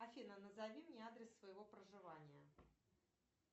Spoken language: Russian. афина назови мне адрес своего проживания